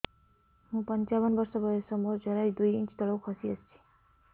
ମୁଁ ପଞ୍ଚାବନ ବର୍ଷ ବୟସ ମୋର ଜରାୟୁ ଦୁଇ ଇଞ୍ଚ ତଳକୁ ଖସି ଆସିଛି